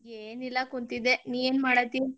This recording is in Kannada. ಏನಿಲ್ಲಾ ಕುಂತಿದ್ದೆ, ನೀ ಏನ್ ಮಾಡಾತಿ?